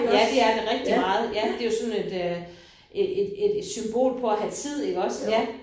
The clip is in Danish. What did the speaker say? Ja det er det rigtig meget ja det jo sådan et øh et et et symbol på at have tid iggås ja